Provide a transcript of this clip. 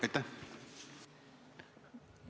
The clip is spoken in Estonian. Aitäh!